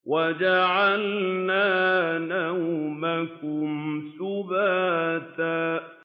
وَجَعَلْنَا نَوْمَكُمْ سُبَاتًا